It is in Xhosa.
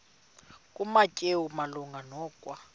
kumateyu malunga nokwa